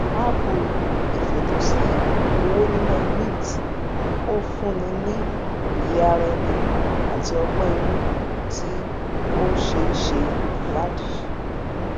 appu ìfètòsí owó níná mint o fun ni ni òye ara ẹni ati ogbón inu tí o se se iwadi